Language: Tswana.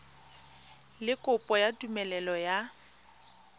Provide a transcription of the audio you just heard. le kopo ya tumelelo ya